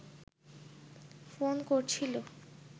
phone করছিল